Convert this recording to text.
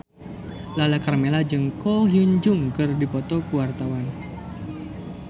Lala Karmela jeung Ko Hyun Jung keur dipoto ku wartawan